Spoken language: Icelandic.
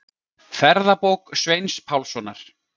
Ferðabók Sveins Pálssonar.